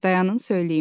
Dayanın söyləyim.